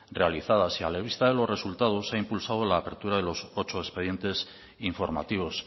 realizadas y a la vista de los resultados se ha impulsado la apertura de los ocho expediente informativos